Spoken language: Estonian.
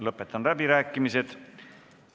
Lõpetan läbirääkimised.